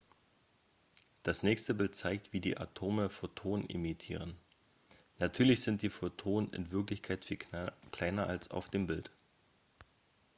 das nächste bild zeigt wie die atome photonen emittieren natürlich sind die photonen in wirklichkeit viel kleiner als auf dem bild